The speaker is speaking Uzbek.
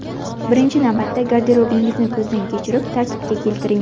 Birinchi navbatda garderobingizni ko‘zdan kechirib, tartibga keltiring.